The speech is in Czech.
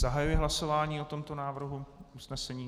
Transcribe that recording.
Zahajuji hlasování o tomto návrhu usnesení.